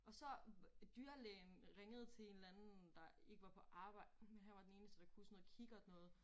Og så dyrelægen ringede til en eller anden der ikke var på arbejde men han var den eneste der kunne sådan noget kikkert noget